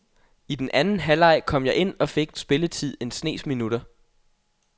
I den anden halvleg kom jeg ind og fik spilletid en snes minutter.